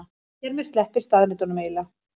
Hér með sleppir staðreyndunum eiginlega.